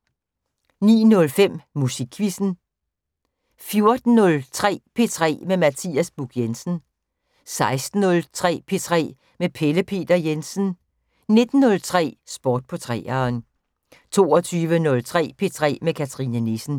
09:05: Musikquizzen 14:03: P3 med Mathias Buch Jensen 16:03: P3 med Pelle Peter Jensen 19:03: Sport på 3'eren 22:03: P3 med Cathrine Nissen